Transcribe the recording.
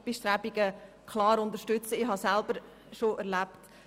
Den gläsernen Deckel für die Frauen habe ich selber schon erlebt.